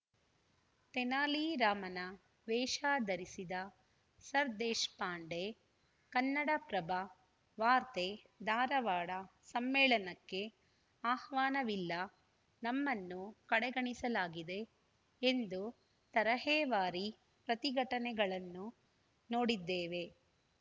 ತೆನಾಲಿ ರಾಮನ ವೇಷ ಧರಿಸಿದ ಸರದೇಶಪಾಂಡೆ ಕನ್ನಡಪ್ರಭ ವಾರ್ತೆ ಧಾರವಾಡ ಸಮ್ಮೇಳನಕ್ಕೆ ಆಹ್ವಾನವಿಲ್ಲ ನಮ್ಮನ್ನು ಕಡೆಗಣಿಸಲಾಗಿದೆ ಎಂದು ತರಹೇವಾರಿ ಪ್ರತಿಘಟನೆಗಳನ್ನು ನೋಡಿದ್ದೇವೆ